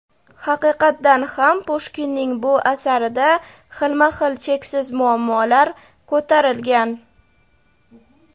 Haqiqatdan ham Pushkinning bu asarida xilma-xil cheksiz muammolar ko‘tarilgan.